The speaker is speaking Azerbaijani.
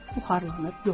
Buxarlanıb yox olar.